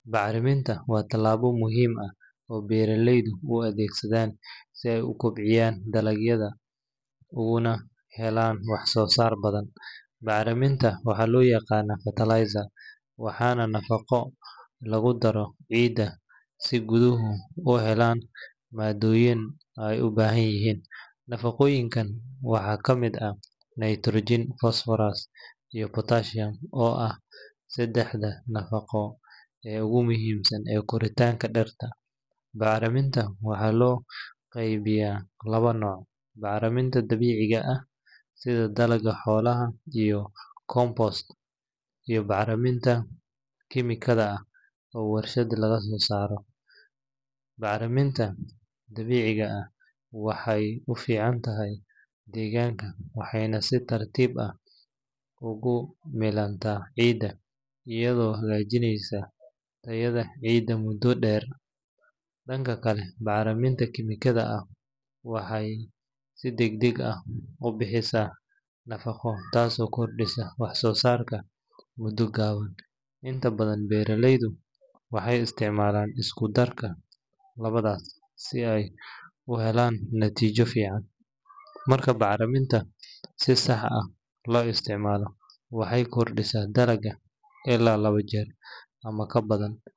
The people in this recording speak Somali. Bacraminta waa talaabo muhiim ah oo lagu kobciyo dalagyada, nafaqooyinka waxaa kamid ah nitrogen oo ah nafaqada oogu muhiimsan, bacraminta dabiiciga iyo mida kemika ah, waxeey ufican tahay deeganka iyado hagaajineysa tayada ciida, waxeey si dagdag ah ubixisa nafaqo, beeraleyda waxeey isticmaalaan isku darga, marka la isticmaalo waxeey kobcisa dalaga ilaa laba jeer.